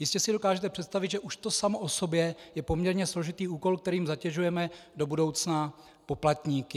Jistě si dokážete představit, že už to samo o sobě je poměrně složitý úkol, kterým zatěžujeme do budoucna poplatníky.